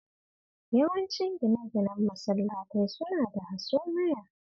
Yawancin gine-ginen masallatai suna da hasumaya